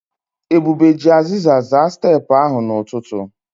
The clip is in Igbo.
Ebube ji aziza zaa steepụ ahụ n'ụtụtụ.